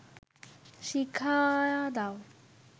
শিখায়া দাও